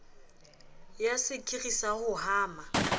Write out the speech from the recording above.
ya sekiri sa ho hama